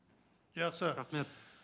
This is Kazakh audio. жақсы рахмет